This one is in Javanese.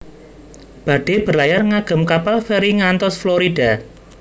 Badhe berlayar ngagem kapal feri ngantos Florida